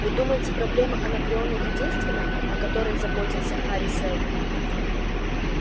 вы думаете проблема анакреона единственная о которой заботился хари сэлдон